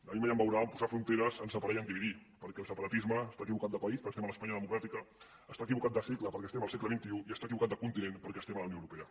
a mi mai em veurà a posar fronteres a separar i a dividir perquè el separatisme està equivocat de país perquè estem a l’espanya democràtica està equivocat de segle perquè estem al segle xxi i està equivocat de continent perquè estem a la unió europea